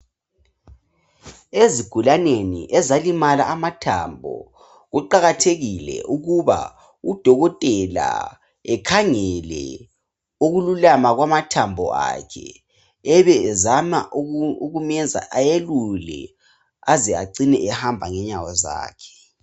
Ezigulaneni ezalimala amathambo kuqakathekile ukuba udokotela ekhangele ukululama kwamathambo akho ebe ezama ukumyenza ayelule aze agcine ehamba ngenyawo zakhe.